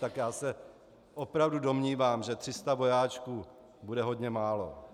Tak já se opravdu domnívám, že 300 vojáčků bude hodně málo.